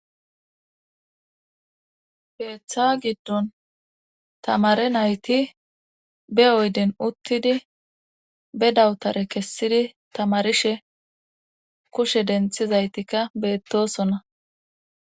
keeththa giddon tamare nayti be oyden uttidi be dawutare kessidi tamarishe kushe denthizaytikka beettosonna